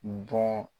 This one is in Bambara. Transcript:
Bɔ